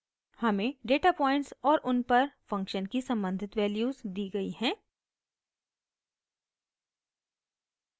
हमें data points और उन पर फंक्शन की सम्बंधित वैल्यूज़ दी गयी हैं